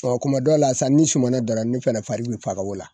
Ɔ kuma dɔ la sa ni sumana dala ne fana fari be faga o la.